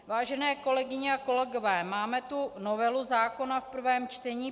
Vážené kolegyně a kolegové, máme tu novelu zákona v prvém čtení.